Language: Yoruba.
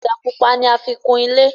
Ọ̀dà pupa ní àfi kùn ilé